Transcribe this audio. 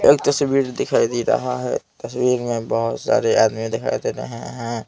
एक तस्वीर दिखाई दे रही है तस्वीर में बहुत सारे आदमी दिखाई दे रहे हैं ।